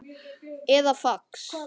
eða fax